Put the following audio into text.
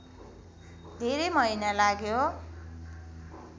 धेरै महिना लाग्यो